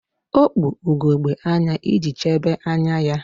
O kpu ugegbe anya iji chebe anya ya